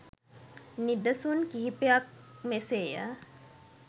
නිදසුන් කිහිපයක් මෙසේ ය.